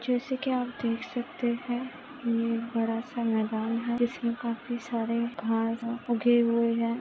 जैसे की आप देख सकते है यहा बड़ा सा मैदान है जिसमे काफी सारे घास उगे हुए है।